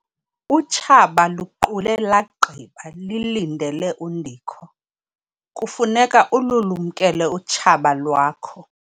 Utshaba luqule lagqiba lilindele undikho. kufuneka ululumkele utshaba lwakho